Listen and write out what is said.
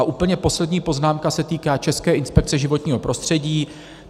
A úplně poslední poznámka se týká České inspekce životního prostředí.